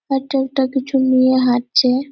হাটে ওটা কিছু নিয়ে হাটছে-এ।